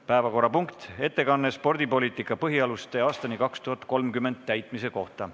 Päevakorrapunkt: ettekanne "Spordipoliitika põhialuste aastani 2030" täitmise kohta.